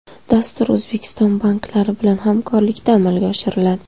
Dastur O‘zbekiston banklari bilan hamkorlikda amalga oshiriladi.